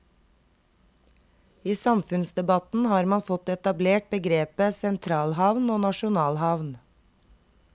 I samfunnsdebatten har man fått etablert begrepet sentralhavn og nasjonalhavn.